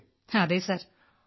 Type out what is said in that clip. അതെ സർ